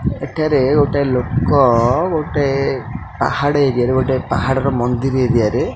ଏଠାରେ ଗୋଟେ ଲୋକ ଗୋଟେ ପାହାଡ଼ ଏରିଆ ରେ ଗୋଟେ ପାହାଡ଼ ର ମନ୍ଦିର ଏରିଆରେ --